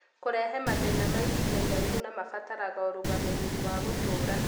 kũrehe mathĩna ma ihinda iraihu na mabataraga ũrũgamĩrĩri wa gũtũura.